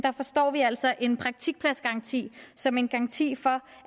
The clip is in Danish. forstår vi altså en praktikpladsgaranti som en garanti for